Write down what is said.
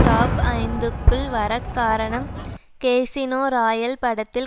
top ஐந்துக்குள் வர காரணம் கேசினோ ராயல் படத்தில்